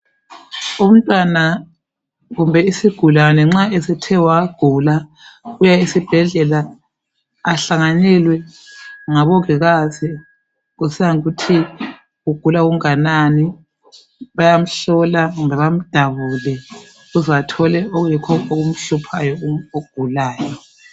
Umntwana kumbe isigulane nxa esethe wagula uya esibhedlela ahlanganelwe ngabongikazi kusiya ngokuthi ugula okunganani, bayamhlola kumbe bamdabule ukuze bathole okuyikho okumhluphayo ogulayo.